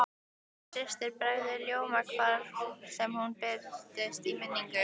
Gulla systir bregður ljóma hvar sem hún birtist í minningunni.